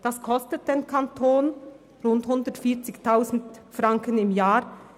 Das kostet den Kanton rund 140 000 Franken im Jahr.